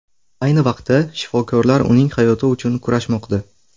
Ayni vaqtda shifokorlar uning hayoti uchun kurashmoqda.